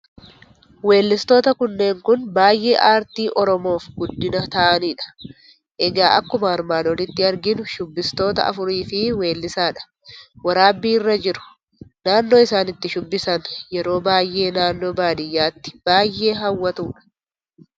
Weellistoota kanneen Kun baayyee aartii oromoof guddina tahanidha egaa akkuma armaan olitti arginu shubbistoota afuriifi weellisaa dha waraabbii irra jiru naannoo isaan itti shubbisan yeroo baayyee naannoo baadiyyaatti baayyee hawwaatudha.